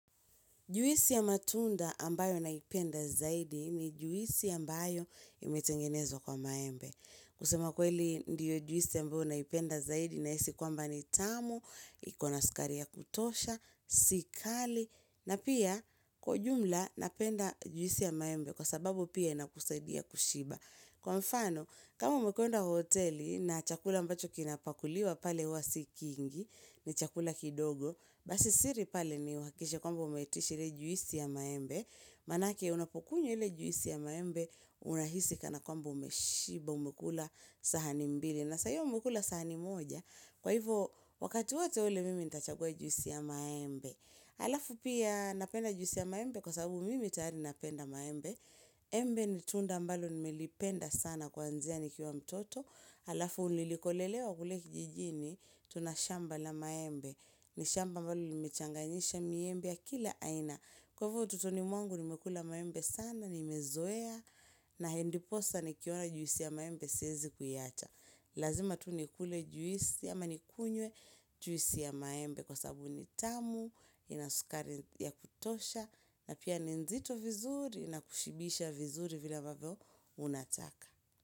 Juisi ya matunda ambayo naipenda zaidi ni juisi ambayo imetengenezwa kwa maembe. Kusema kweli ndiyo juisi ambayo naipenda zaidi nahisi kwamba ni tamu, iko na sukari ya kutosha, si kali, na pia kwa ujumla napenda juisi ya maembe kwa sababu pia inakusaidia kushiba. Kwa mfano, kama umekwenda hoteli na chakula ambacho kinapakuliwa pale huwa si kingi, ni chakula kidogo, basi siri pale ni uhakishe kwamba umeitisha ile juisi ya maembe, maanake unapokunya lle juisi ya maembe unahisi kana kwamba umeshiba umekula sahani mbili na saa hiyo umekula sahani moja, kwa hivyo wakati wate ule mimi nitachagua juisi ya maembe, alafu pia napenda juisi ya maembe kwa sababu mimi tayari napenda maembe, embe ni tunda ambalo nimelipenda sana kwanzia nikiwa mtoto, alafu nilikolelewa kule kijijini, tuna shamba la maembe, ni shamba ambalo limechanganyisha miembe ya kila aina. Kwa hivo utotoni mwangu nimekula maembe sana, nimezoea na ndiposa nikiona juisi ya maembe siezi kuiacha. Lazima tu nikule juisi ama nikunywe juisi ya maembe kwa sababu ni tamu, ina sukari ya kutosha na pia ni nzito vizuri na kushibisha vizuri vile ambavyo unataka.